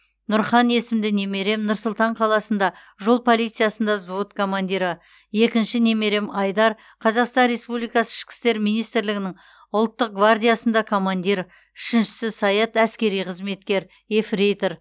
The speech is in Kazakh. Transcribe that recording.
нұрхан есімді немерем нұр сұлтан қаласында жол полициясында взвод командирі екінші немерем айдар қазақстан республикасы ішкі істер министрлігінің ұлттық гвардиясында командир үшіншісі саят әскери қызметкер ефрейтор